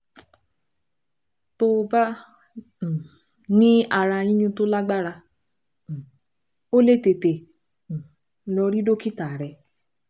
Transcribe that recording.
Tó bá um ní ara yíyún tó lágbára, um o lè tètè um lọ rí dókítà rẹ